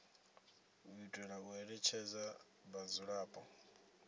u itela u ṋetshedza vhadzulapo